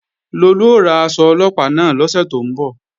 Lolú ó ra aṣọ Ọlọ́pàá náà lọ́sẹ̀ tó ń bọ̀